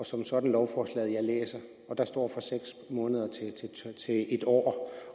som sådan lovforslaget jeg læser og der står fra seks måneder til en år